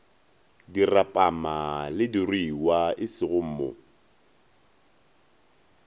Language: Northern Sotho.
dirapama le diruiwa esego mo